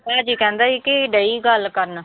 ਭਾਜੀ ਕਹਿੰਦਾ ਸੀ ਕਿ ਡਈ ਗੱਲ ਕਰਨ।